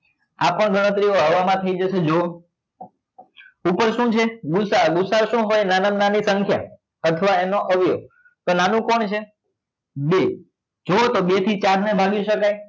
આ પણ ગણતરી હવા માં થઇ જશે જુઓ ઉપર શું છે ગુ સા અ ગુ સા અ શું હોય નાના માં નાની સંખ્યા અથવા એનો અવયવ તો નાનું કોણ છે બે જુઓ તો બે થી ચાર ને ભાગી સકાય